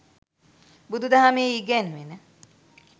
බුදුදහමේ ඉගැන්වෙන